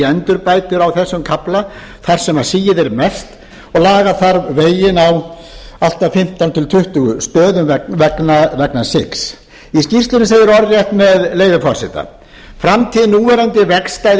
endurbætur á þessum kafla þar sem sigið er mest og laga þarf veginn á allt að fimmtán til tuttugu stöðum vegna sigs í skýrslunni segir orðrétt með leyfi forseta framtíð núverandi vegstæðis